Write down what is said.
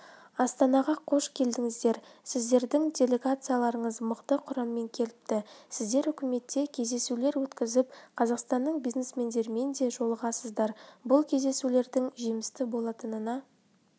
астанаға қош келдіңіздер сіздердің делегацияларыңыз мықты құраммен келіпті сіздер үкіметте кездесулер өткізіп қазақстанның бизнесмендерімен де жолығасыздар бұл кездесулердің жемісті болатынына